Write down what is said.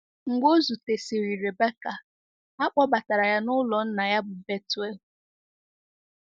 Mgbe o zutesịrị Rebecca, a kpọbatara ya n’ụlọ nna ya bụ́ Bethuel.